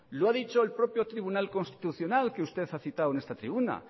lo ha dicho el propio tribunal constitucional que usted ha citado en esta tribuna